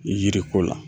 Yiri ko la